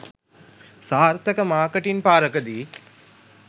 සාර්ථක "මාර්කටින් පාරකදී"